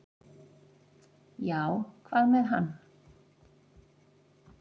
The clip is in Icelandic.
"""Já, hvað með hann?"""